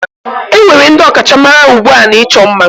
Enwere ndị ọkachamara ugbu a n'ịchọ ima